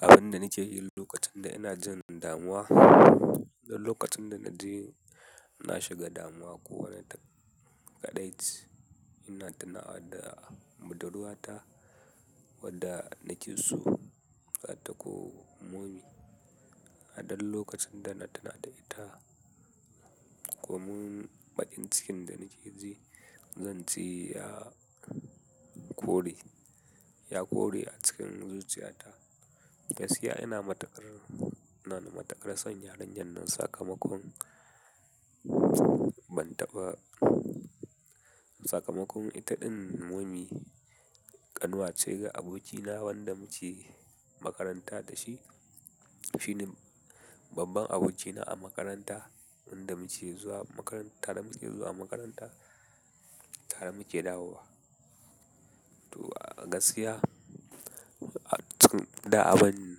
Abin da nake yi lokacin da ina jin damuwa, duk lokacin da naji na shiga damuwa ko wani kaɗaici, ina tunawa da budurwata wadda na ke so, ta ko momi a duk lokacin da na tuna da ita, ko mun baƙin cikin da nake ji, zanji ya kore, ya kore a cikin zuciyata. Gaskiya ina matukar ina na matukar son yarinyar nan sakamakon ban taɓa sakamakon itaɗin momi, ƙanwa ce ga abokina wanda muke makaranta da shi. Shine babban abokina a makaranta wanda muke zuwa makaranta, tare muke zuwa makaranta, tare muke dawowa. To a gaskiya, da abin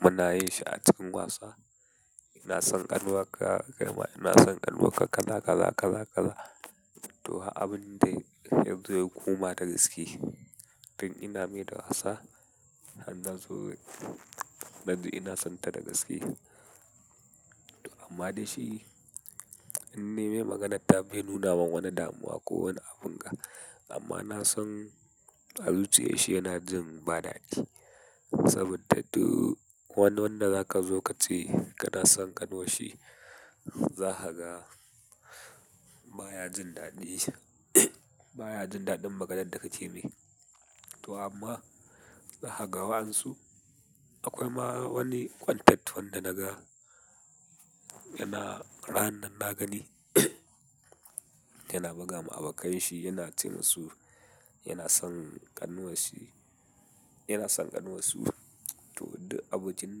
muna yin shi a cikin wasa. Ina son ƙanwarka, kaima ina son ƙanuwarka kaza kaza kazakaza. To har abin dai yazo ya koma da gaske, tun ina mai da wasa, har nazo naji ina son ta da gaske. Amma dai shi, in nayi mai maganarta bai nuna min wani damuwa ko wani abin ga. Amma na san a zuciyar shi yana jin ba daɗi. Saboda duk wani wanda zaka zo ka ce kana son ƙanwarshi, za ka ga baya jin daɗi. Baya jin daɗin maganar da ka ce mai. To amma za ka ga wa'yensu, akwai ma wani content wanda naga yana rananan na gani yana buga ma abokanshi, yana ce musu yana son ƙanwarshi, yana son ƙanwarsu to duk abokin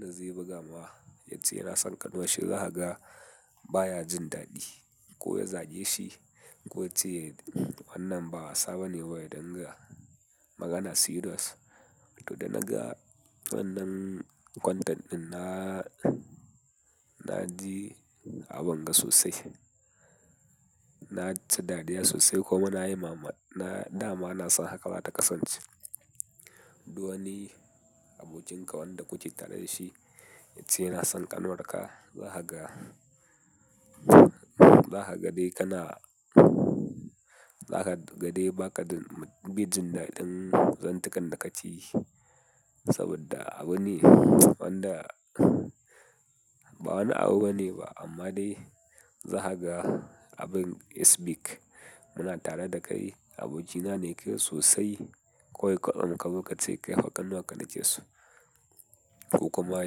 da zai buga mawa, yace yana son ƙanwarshi, za ka ga baya jin daɗi. Ko ya zage shi ko ya ce wannan ba wasa bane ba ya dinga magana serious. To da naga wannan content ɗin na, na ji abin ga sosai na ci dariya sosai kuma na yi ma, na dama na san haka za ta kasance. Duk wani abokin ka wanda kuke tare da shi, yace yana son ƙanuwarka, za ka ga, za ka ga dai kana, za ka ga dai ba ka baijin daɗin zantukan da kake yi. Saboda abune wanda ba wani abu bane ba amma dai za ka ga abin isbik. Muna tare da kai abokina ne ke sosai. Ko kwatsam kazo kace kai fa ƙanwar ka na ke so. Ko kuma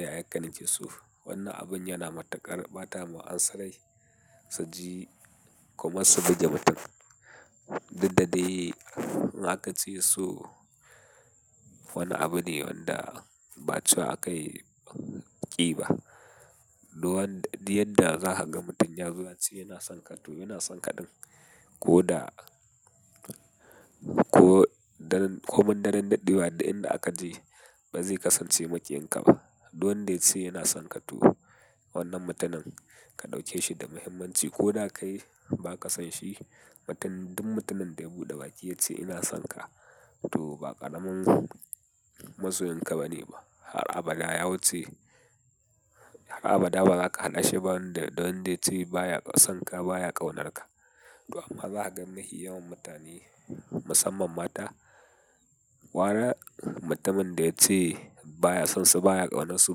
yayar ka nake so. Wannan abin yana matuƙar ɓatawa wa'yensu rai. Suji kamar su buge mutum. Duk da dai in aka ce so wani abu ne wanda ba cewa aka yi ƙi ba. Duwan, duk yadda za ka ga mutum ya zo ya ce yana son ka, to yana son ka ɗin. Ko da ko daren, ko mun daren daɗewa duk inda aka je ba zai kasance maƙiyin kaba. Dukwanda yace yana son ka to wannan mutumin ka ɗauke shi da muhimmanci ko da kai yi ba ka son shi. Mutum duk mutumin da ya buɗe baki yace ina son ka to ba ƙaramin masoyinka ba ne ba. Har abada ya wuce, har abada ba za ka haɗa shi ba wanda da wanda yace baya son ka baya ƙaunarka. To amma za ka ga nahi yawan mutane musamman mata, wara mutumin da yace baya son su baya ƙaunarsu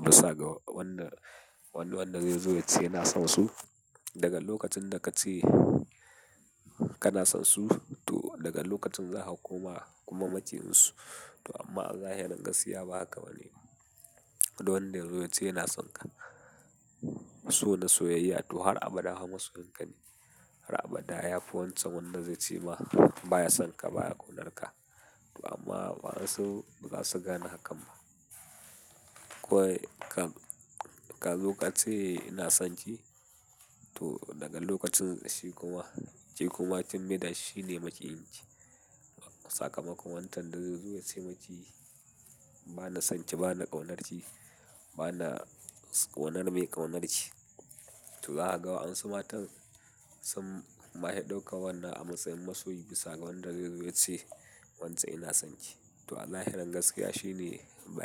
bisa ga wanda, wani wanda zai zo ya ce yana son su. Daga lokacin da ka ce kana son su to daga lokacin za ka koma kuma maƙiyinsu. To amma a zahirin gaskiya ba haka ba ne ba. Duk wanda ya zo ya ce yana son ka, so na soyayya to har abada ma masoyinka ne. Har abada ya fi wancan wanda zai ce ma baya son ka baya ƙaunarka. To amma wasu ba za su gane hakan ba. Kawai kam ka zo ka ce ina son ki to daga lokacin shi kuma, shi kuma kin maida shi shi ne maƙiyinki. Sakamakon wancan da zai zo ya ce miki ba na son ki ba na ƙaunarki, ba na ƙaunar mai ƙaunar ki. To za ka ga wa'yensu matan sun mafi ɗauka wannan a matsayin masoyi bisa ga wanda zai zo ya ce wance ina son ki. To a zahirin gaskiya shine ba.